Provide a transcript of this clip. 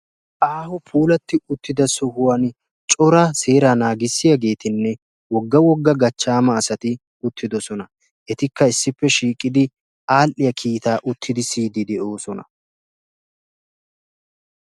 Aaho puulattidda sohuwan seera naagissiyagettinne wogga wogga gachchamma asatti de'osonna. Ettikka uttiddi kiitta siyosonna.